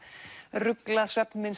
ruglað